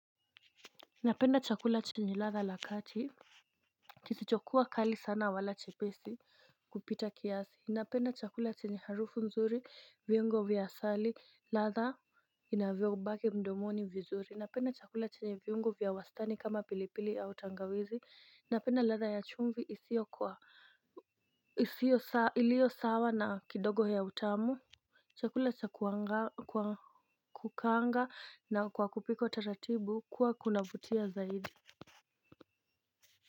Napenda chakula chenye ladha la kati. Kisichokuwa kali sana wala chepesi kupita kiasi. Napenda chakula chenye harufu nzuri, viungo vya asali, ladha inavyo baki mdomoni vizuri. Napenda chakula chenye viungo vya wastani kama pilipili au tangawizi, napenda ladha ya chumvi isio kwa iliyo sawa na kidogo ya utamu. Chakula cha kukaanga na kupikwa kwa utaratibu huwa kina vutia zaidi.